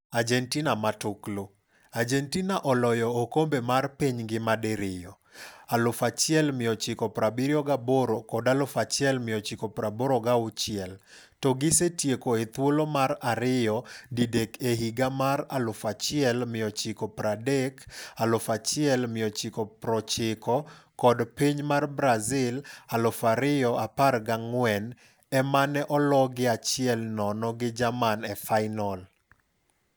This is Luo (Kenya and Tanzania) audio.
Argentina Matuklu: Argentina oloyo okombe mar piny ngima di riyo - 1978 kod 1986 - to gisetieko ethuolo mar ariyo didek e higa mar1930, 1990 kod piny mar Brazil 2014, emane ologie 1-0 gi Jerman e fainol.